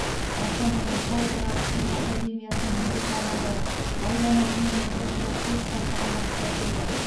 астанадан халықаралық түркі академиясының бір топ мамандары аудан әкімі нұрбол тұрашбеков бастаған басшылар келді